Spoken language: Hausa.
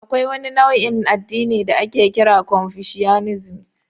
Akwai wani nau'in addini da ake kira confucianism.